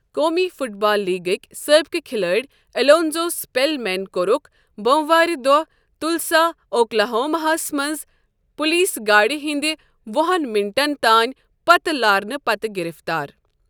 قومی football لیٖگٕکۍ سٲبِقہٕ کِھلٲڑۍ ایٚلونزو سٕپیلمین کوٚرُکھ بوموارٕ دۄہہ تُلسا اوکلاہوما ہس منٛز پُلیٖس گاڑِ ہِنٛدِ وُہَن مِنٹن تانۍ پتہ لارنہ پتہٕ گِرِفتار۔